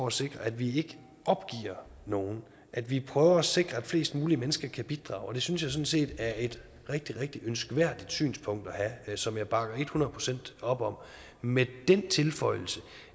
at sikre at vi ikke opgiver nogen at vi prøver at sikre at flest mulige mennesker kan bidrage og det synes jeg sådan set er et rigtig rigtig ønskværdigt synspunkt at have som jeg bakker et hundrede procent op om med den tilføjelse